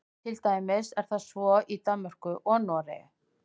til dæmis er það svo í danmörku og noregi